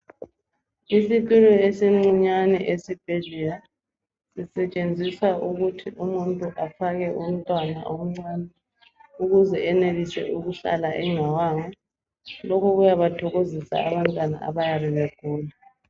Isitulo esincinyane esibhedlela zisetshenziswa ukuthi umuntu afake umntwana omncane ukuze senelise ukuhlala engawanga. Lokhu kuyabathokozisa abantwana abayabebegula.